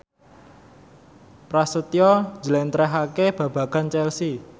Prasetyo njlentrehake babagan Chelsea